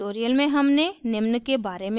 इस tutorial में हमने निम्न के बारे में सीखा